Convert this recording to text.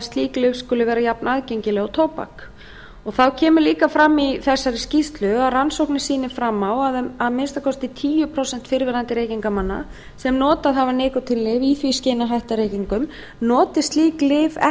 slík lyf skuli vera jafnaðgengileg og tóbak þá kemur líka fram í þessari skýrslu að rannsóknir sýni fram á að að minnsta kosti tíu prósent fyrrverandi reykingamanna sem notað hafa nikótínlyf í því skyni að hætta reykingum noti slík lyf ekki